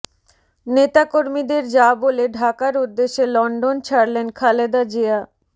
নেতাকর্মীদের যা বলে ঢাকার উদ্দেশে লন্ডন ছাড়লেন খালেদা জিয়া